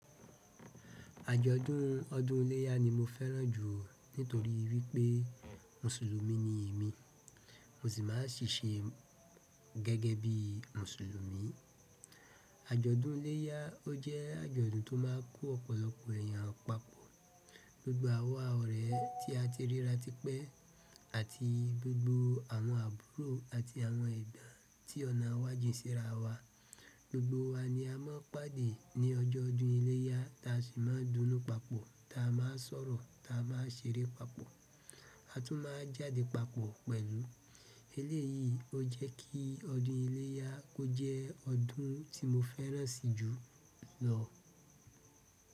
Àjọ̀dún ọdún iléyà ni mo fẹ́ràn jù nítorí wípé mùsùlùmí ni èmi, mo sì ma ń ṣíṣe gẹ́gẹ́ bí mùsùlùmí. Àjọ̀dún iléyà ó jẹ́ àjọ̀dún tó máa kó ọ̀pọ̀lọpọ̀ èèyàn papọ̀. Gbogbo àwa ọ̀rẹ́ tí a ti ríra tipẹ́ àti gbogbo àwọn àbúrò àti àwọn ẹ̀gbọ́n tí ọ̀nà àwàjì ṣe rà wa, gbogbo wa ni a máa ń pàdé ní ọjọ́ ọdún iléyà ta sì máa ń dúnú papọ̀, ta máa ń sọ̀rọ̀ ta máa ń ṣeré papọ̀ a tún máa ń jáde papọ̀ pẹ̀lú. Eléyìí ó jẹ́ kí ọdún iléyà kó jẹ́ ọdún tí mo fẹ́ràn si jù lọ.